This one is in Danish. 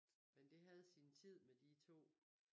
Men det havde sin tid med de to